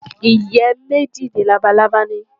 Ìyẹ́ méjì ni labalábá ní.